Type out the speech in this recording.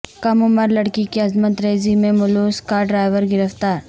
کم عمر لڑکی کی عصمت ریزی میں ملوث کا ر ڈرائیور گرفتار